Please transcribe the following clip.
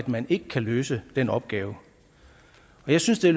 man ikke kan løse den opgave jeg synes det